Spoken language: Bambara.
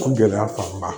Ko gɛlɛya fanba